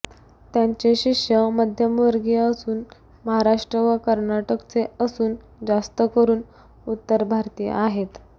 त्यांचे शिष्य मध्यमवर्गीय असून महाराष्ट्र व कर्नाटकचे असून जास्त करून उत्तरभारतीय आहे